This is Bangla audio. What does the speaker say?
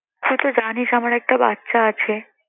তুই তো জানিস আমার একটা বাচ্চা আছে।